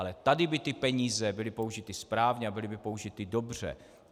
Ale tady by ty peníze byly použity správně a byly by použity dobře.